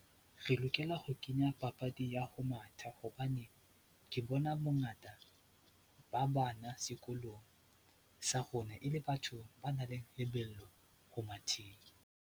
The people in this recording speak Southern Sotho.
Re lokela ho kenya papadi ya ho matha hobane ke bona bongata ba bana sekolong sa rona e le batho ba nang le lebelo ho matheng.